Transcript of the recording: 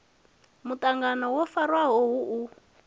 muṱangano wo farwaho hu u